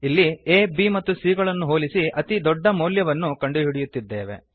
ಇಲ್ಲಿ ಆ b ಮತ್ತು c ಗಳನ್ನು ಹೋಲಿಸಿ ಅತಿ ದೊಡ್ಡ ಮೌಲ್ಯವನ್ನು ಕಂಡುಹಿಡಿಯುತ್ತಿದ್ದೇವೆ